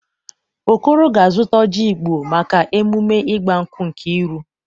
Okoro ga-azụta oji Igbo maka emume igbankwụ Nkeiru